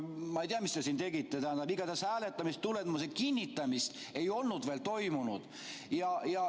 Ma ei tea, mis te siin tegite, tähendab, igatahes hääletamistulemuste kinnitamist ei olnud veel toimunud.